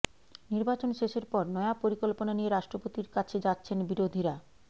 নির্বাচন শেষের পর নয়া পরিকল্পনা নিয়ে রাষ্ট্রপতির কাছে যাচ্ছেন বিরোধীরা